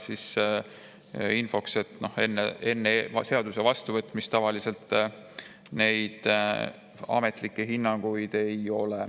Infoks öeldi, et enne seaduse vastuvõtmist tavaliselt selliseid ametlikke hinnanguid ei anta.